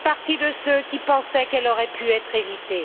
je fais partie de ceux qui pensaient qu'elle aurait pu être évitée